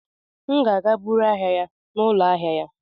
M ga-aga buru ahịa ya n'ụlọ ahịa ya.